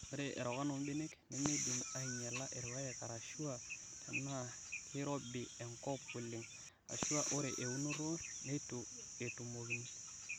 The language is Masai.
Ore erokan oo mbenek nemeidim anyiala irpaek arashua tenaa keirobii enkop oleng ,ashuaa oree eunoto neitu etumokini.